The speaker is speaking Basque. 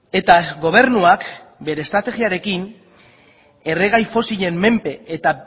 eta gobernuak bere estrategiarekin erregai fosilen menpe eta